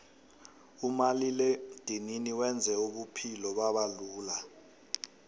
umaliledinini wenze ubuphulo babalula